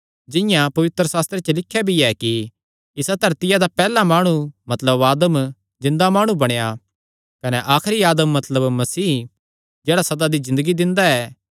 जिंआं पवित्रशास्त्रे च लिख्या भी ऐ कि इसा धरतिया दा पैहल्ला माणु मतलब आदम जिन्दा माणु बणेया कने आखरी आदम मतलब मसीह जेह्ड़ा सदा दी ज़िन्दगी दिंदा ऐ